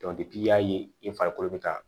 i y'a ye i farikolo bɛ taa